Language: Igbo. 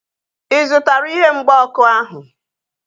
Ị zụtara ihe mgba ọkụ ahu?